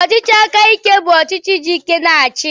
Ọchịchị aka ike bụ ọchịchị ji ike na-achị.